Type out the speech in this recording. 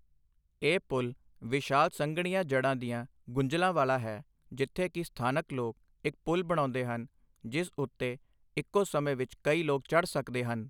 ਇਹ ਪੁਲ਼ ਵਿਸ਼ਾਲ ਸੰਘਣੀਆਂ ਜੜ੍ਹਾਂ ਦੀਆਂ ਗੁੰਝਲਾਂ ਵਾਲਾ ਹੈ, ਜਿੱਥੇ ਕਿ ਸਥਾਨਕ ਲੋਕ ਇਕ ਪੁਲ਼ ਬਣਾਉਂਦੇ ਹਨ ਜਿਸ ਉੱਤੇ ਇਕੋ ਸਮੇਂ ਵਿੱਚ ਕਈ ਲੋਕ ਚੜ੍ਹ ਸਕਦੇ ਹਨ।